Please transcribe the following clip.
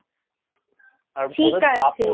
আর অনেক ভাগও আছে।